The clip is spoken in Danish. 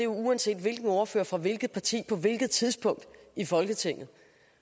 uanset hvilken ordfører fra hvilket parti på hvilket tidspunkt i folketinget